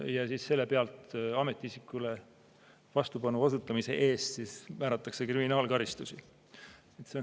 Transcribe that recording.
Ja ametiisikule vastupanu osutamise eest määratakse kriminaalkaristus.